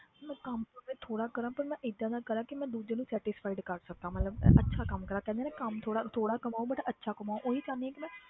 ਮੈਂ ਕੰਮ ਭਾਵੇਂ ਥੋੜ੍ਹਾ ਕਰਾਂ ਪਰ ਮੈਂ ਏਦਾਂ ਦਾ ਕਰਾਂ ਕਿ ਮੈਂ ਦੂਜੇ ਨੂੰ satisfied ਕਰ ਸਕਾਂ ਮਤਲਬ ਅੱਛਾ ਕੰਮ ਕਰਾਂ ਕਹਿੰਦੇ ਆ ਨਾ ਕੰਮ ਥੋੜ੍ਹਾ ਥੋੜ੍ਹਾ ਕਮਾਓ but ਅੱਛਾ ਕਮਾਓ ਓਹੀ ਚਾਹੁੰਦੀ ਹਾਂ ਕਿ ਮੈਂ